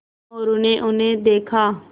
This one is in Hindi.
मोरू ने उन्हें देखा